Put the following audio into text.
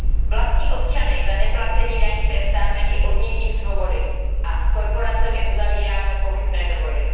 Vlastní občany za neplacení daní trestáme i odnětím svobody a s korporacemi uzavíráme pochybné dohody.